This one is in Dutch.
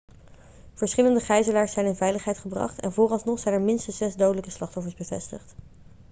verschillende gijzelaars zijn in veiligheid gebracht en vooralsnog zijn er minstens zes dodelijke slachtoffers bevestigd